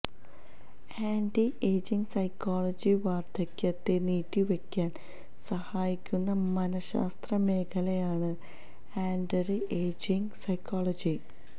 anti ageing psychology വാർധക്യത്തെ നീട്ടി വയ്ക്കാൻ സഹായിക്കുന്ന മനശ്ശാസ്ത്ര മേഖലയാണ് ആൻറി ഏജിങ് സൈക്കോളജി